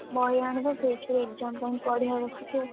ବହି ଆଣିବା ସେଇଥିରୁ exam ପାଇଁ ପଢିଆ ବସିକି ଆଉ,